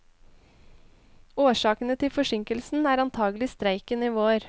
Årsakene til forsinkelsen er antagelig streiken i vår.